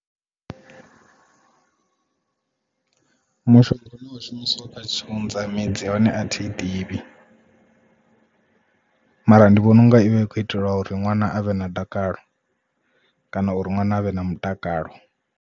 Mushonga une wa shumisiwa kha tshiunza midzi ya hone a thi ḓivhi mara ndi vhona unga ivha i kho itelwa uri ṅwana avhe na dakalo kana uri ṅwana avhe na mutakalo.